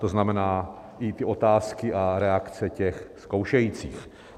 To znamená, i ty otázky a reakce těch zkoušejících.